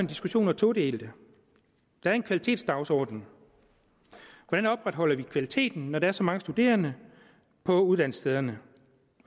diskussion todelt der er en kvalitetsdagsorden hvordan opretholder vi kvaliteten når der er så mange studerende på uddannelsesstederne